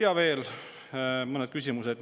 Ja veel mõned küsimused.